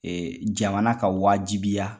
jamana ka wajibiya